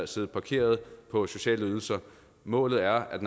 sidde parkeret på sociale ydelser målet er at